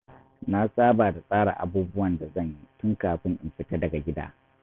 Na saba da tsara abubuwan da zan yi tun kafin in fita daga gida.